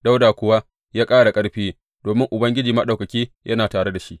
Dawuda kuwa ya ƙara ƙarfi, domin Ubangiji Maɗaukaki yana tare da shi.